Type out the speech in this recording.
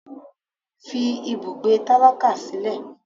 fí ibùgbé tálákà sílẹ!